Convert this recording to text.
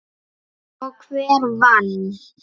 Og hver vann?